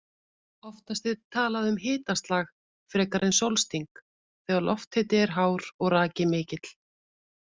Oftast er talað um hitaslag frekar en sólsting þegar lofthiti er hár og raki mikill.